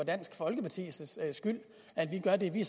dansk folkepartis skyld at vi gør det vi